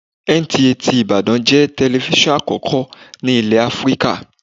NTA ti Ìbàdàn jẹ́ telifíṣàn àkọ́kọ́ ní ilé Áfríkà.